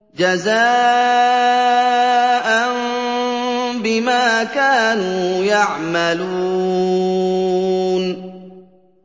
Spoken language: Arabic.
جَزَاءً بِمَا كَانُوا يَعْمَلُونَ